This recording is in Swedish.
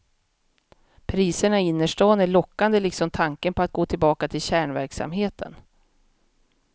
Priserna i innerstan är lockande liksom tanken på att gå tillbaka till kärnverksamheten.